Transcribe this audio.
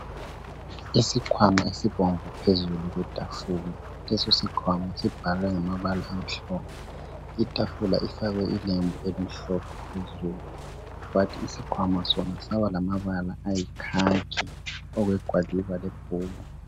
Isikhwama esibomvu phezulu kwetafula. Lesosikhwama sibhalwe ngamabala amhlope. ltafula ifakwe ilembu elimhlophe ,phezulu. Kwathi isikhwama sona, saba lamabala ayikhakhi, okwegwaliba lebhuku.